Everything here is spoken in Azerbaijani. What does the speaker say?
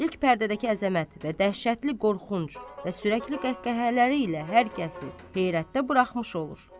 İlk pərdədəki əzəmət və dəhşətli qorxunc və sürəkli qəhqəhələri ilə hər kəsi heyrətdə buraxmış olur.